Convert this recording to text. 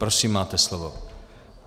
Prosím, máte slovo.